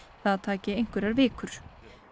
það taki einhverjar vikur